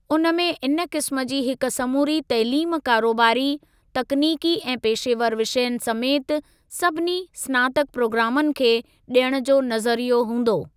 उन में इन क़िस्म जी हिक समूरी तइलीम कारोबारी, तकनीकी ऐं पेशेवर विषयनि समेति सभिनी स्नातक प्रोग्रामनि खे ॾियण जो नज़रियो हूंदो।